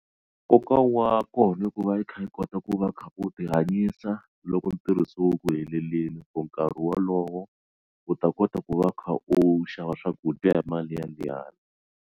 Nkoka wa kona i ku va yi kha yi kota ku va u kha u ti hanyisa loko ntirho se wu ku heteleleni for nkarhi wolowo u ta kota ku va u kha u xava swakudya hi mali ya liyani.